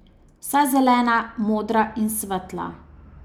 Vsa zelena, modra in svetla.